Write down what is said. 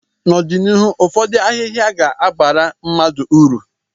n'ọdịnihu ụfọdụ ahịhịa ga-abara mmadụ uru